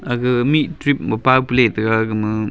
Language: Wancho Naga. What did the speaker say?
agha mih trip ma paw pa litaiga agama.